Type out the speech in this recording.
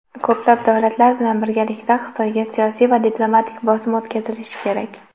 Ko‘plab davlatlar bilan birgalikda Xitoyga siyosiy va diplomatik bosim o‘tkazilishi kerak.